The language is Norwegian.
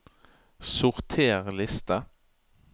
Sorter liste